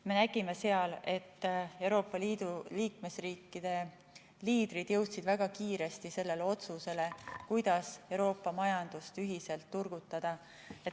Me nägime seal, et Euroopa Liidu riikide liidrid jõudsid väga kiiresti sellele otsusele, kuidas Euroopa majandust ühiselt turgutada.